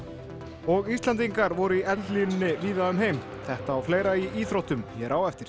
og Íslendingar voru í eldlínunni víða um heim þetta og fleira í íþróttum hér á eftir